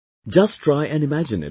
Just try and imagine it